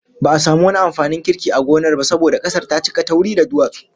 Ba'a samu wani amfanin kirki a gonar ba saboda kasar ta cika tauri da duwatsu